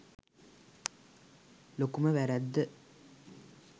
ලොකුම වැරැද්ද